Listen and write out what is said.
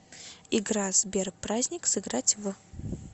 игра сбер праздник сыграть в